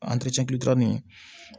nin